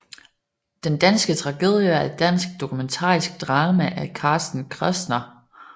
Den danske tragedie er et dansk dokumentarisk drama af Carsten Kressner